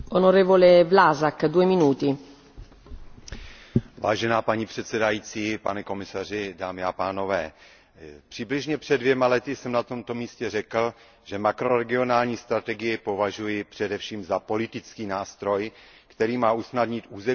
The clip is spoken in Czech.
Vážená paní předsedající, pane komisaři, přibližně před dvěma lety jsem na tomhle místě řekl, že makroregionální strategii považuji především za politický nástroj, který má usnadnit územní spolupráci a podpořit spolupráci na vnitřním trhu.